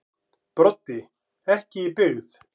Broddi: Ekki í byggð.